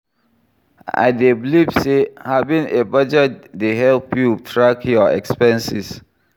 I dey believe say having a budget dey help you track your expenses.